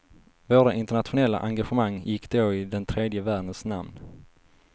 Våra internationella engagemang gick då i den tredje världens namn.